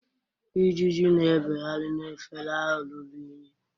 Ejiji na ebeghari na efere ahụ rụrụ unyi